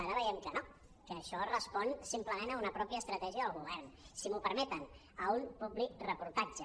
ara veiem que no que això respon simplement a una estratègia pròpia del govern si m’ho permeten a un publireportatge